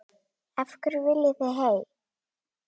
Af hverju viljið þið hey!